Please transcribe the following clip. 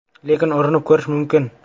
Lekin urinib ko‘rish mumkin.